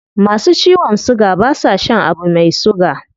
Masu ciwon suga ba sa shan abu mai suga